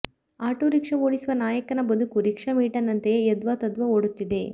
auto rickshaw ಓಡಿಸುವ ನಾಯಕನ ಬದುಕು ರಿಕ್ಷಾ ಮೀಟರ್ನಂತೆಯೇ ಯದ್ವಾತದ್ವಾ ಓಡುತ್ತಿದೆ